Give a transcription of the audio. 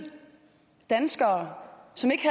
danskere som ikke